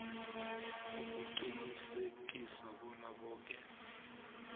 ukuqinisekisa bona boke